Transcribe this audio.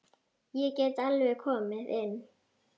Ég get alveg komið inn.